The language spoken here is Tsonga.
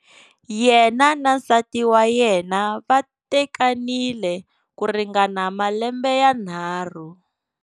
Yena na nsati wa yena va tekanile ku ringana malembe yanharhu.